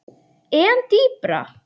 En dýpra?